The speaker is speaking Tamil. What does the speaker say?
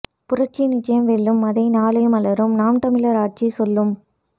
புரட்சி நிச்சயம் வெல்லும் அதை நாளை மலரும் நாம் தமிழர் ஆட்சி சொல்லும்